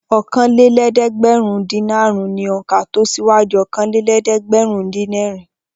Okòólélẹ́ẹ̀dẹ́gbẹ̀rúndínàrún ni òǹkà tó síwájú okòólélẹ́ẹ̀dẹ́gbẹ̀rúndínẹ̀rin.